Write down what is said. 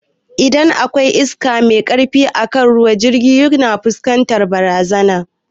Idan akwai iska mai karfi akan ruwa jirgin ruwa yana fuskantar barazana